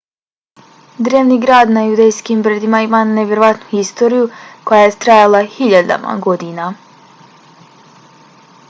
drevni grad na judejskim brdima ima nevjerovatnu historiju koja je trajala hiljadama godina